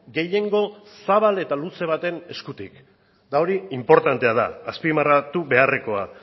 gehiengo zabal eta luze baten eskutik eta hori inportantea da azpimarratu beharrekoa